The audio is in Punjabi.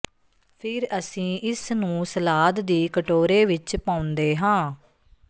ਫਿਰ ਅਸੀਂ ਇਸਨੂੰ ਸਲਾਦ ਦੀ ਕਟੋਰੇ ਵਿਚ ਪਾਉਂਦੇ ਹਾਂ